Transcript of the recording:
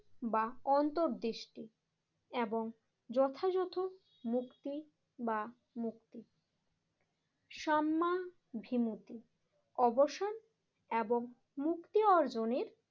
বা অন্তর্দৃষ্টি এবং যথাযথ মুক্তি বা মুক্তি সাম্মাভিমতি অবসান এবং মুক্তি অর্জনের